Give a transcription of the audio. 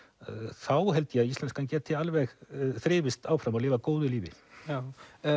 þá held ég að íslenskan geti alveg þrifist áfram og lifað góðu lífi já